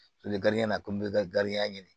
Toli na komi i bɛ ka ɲini